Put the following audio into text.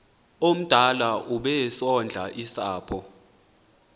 omdala obesondla usapho